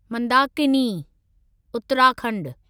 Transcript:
Mandakini (Uttarakhand)